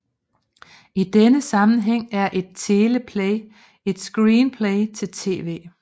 I denne sammenhæng er et teleplay et screenplay til tv